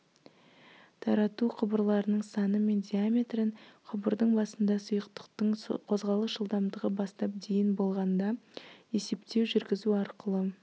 тарату құбырларының саны мен диаметрін құбырдың басында сұйықтықтың қозғалыс жылдамдығы бастап дейін болғанда есептеу жүргізу арқылы